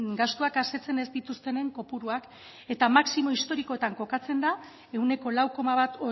gastuak asetzen ez dituztenen kopuruak eta maximo historikoetan kokatzen da ehuneko lau koma bat